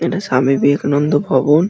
টা স্বামী বিবেকানন্দ ভবন ।